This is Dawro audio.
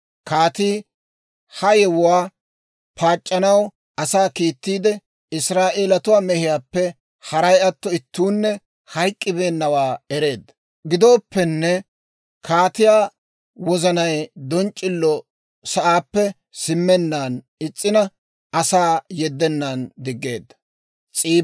Kaatii ha yewuwaa paac'c'anaw asaa kiittiide, Israa'eeletuwaa mehiyaappe, haray atto, ittuunne hayk'k'ibeennawaa ereedda. Gidooppenne kaatiyaa wozanay donc'c'ilo sa'aappe simmenaan is's'ina, asaa yeddennan diggeedda.